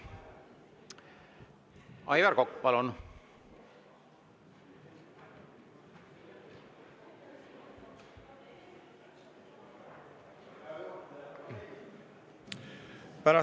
Aivar Kokk, palun!